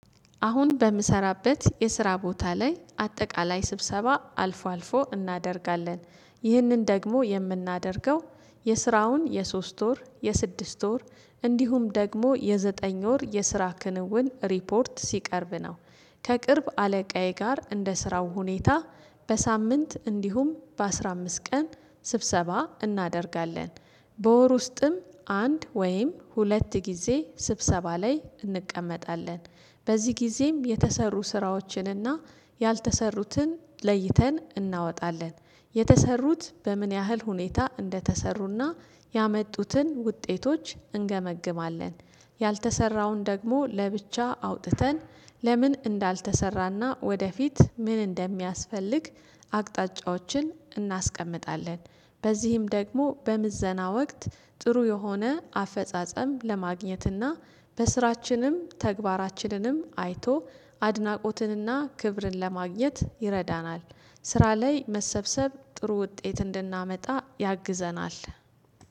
አሁን በምሰራበት የስራ ቦታ ላይ አጠቃላይ ስብሰባ አልፎ አልፎ እናደርጋለን። ይህንን ደግሞ የምናደርገው የስራውን የሶስት ወር የስድስት ወር እንዲሁም ደግሞ የዘጠኝ ወር የስራ ክንውን ሪፖርት ሲቀርብ ነው። ከቅርብ አለቃዬ ጋር እንደ ስራው ሁኔታ በሳምንት እንዲሁም በአስራ አምስት ቀን ስብሰባ እናደርጋለን። በወር ውስጥም አንድ ወይም ሁለት ጊዜ ስብሰባ ላይ እንቀመጣለን። በዚህ ጊዜም የተሰሩ ስራዎችንና ያልተሰሩትን ለይተን እናወጣለን የተሰሩት በምን ያህል ሁኔታ እንደተሰሩና ያመጡትን ውጤቶች እንገመግማለን። ያልተሰራውን ደግሞ ለብቻ አውጥተን ለምን እንዳልተሰራና ወደፊት ምን እንደሚያስፈልግ አቅጣጫዎችን እናስቀምጣለን። በዚህም ደግሞ በምዘና ወቅት ጥሩ የሆነ አፈጻጸም ለማግኘትና በስራችንም ተግባራችንንም አይቶ አድናቆትንና ክብርን ለማግኘት ይረዳናል። ስራ ላይ መሰብሰብ ጥሩ ውጤት እንድናመጣ ያግዘናል።